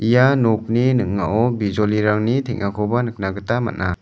ia nokni ning·ao bijolirangni teng·akoba nikna gita man·a.